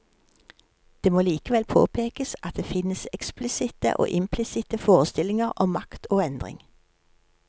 Det må likevel påpekes at det finnes eksplisitte og implisitte forestillinger om makt og endring.